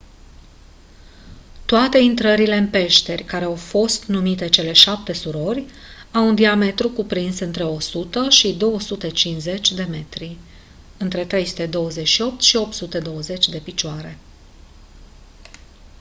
toate intrările în peșteri care au fost numite «cele șapte surori» au un diametru cuprins între 100 și 250 de metri 328 - 820 de picioare.